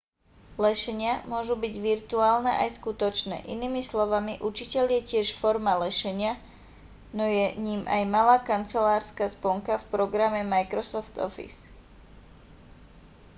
lešenia môžu byť virtuálne aj skutočné inými slovami učiteľ je tiež forma lešenia no je ním aj malá kancelárska sponka v programe microsoft office